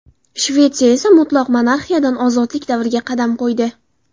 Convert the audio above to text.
Shvetsiya esa mutlaq monarxiyadan ozodlik davriga qadam qo‘ydi.